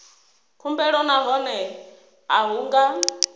khumbelo nahone a hu nga